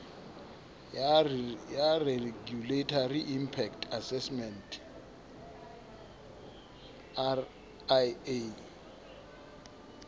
ya regulatory inpact assessment ria